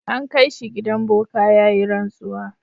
An kai shi gidan boka ya yi rantsuwa.